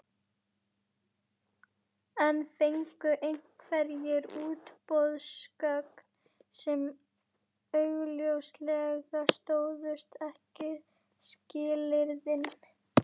En fengu einhverjir útboðsgögn sem augljóslega stóðust ekki skilyrðin?